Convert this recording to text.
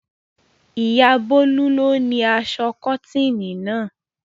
Ìyá Bólú ni ó ni aṣọ kọ́tíìnì náà.